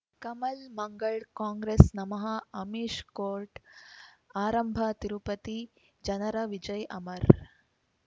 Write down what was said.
ಕಮಲ್ ಮಂಗಳ್ ಕಾಂಗ್ರೆಸ್ ನಮಃ ಅಮಿಷ್ ಕೋರ್ಟ್ ಆರಂಭ ತಿರುಪತಿ ಜನರ ವಿಜಯ್ ಅಮರ್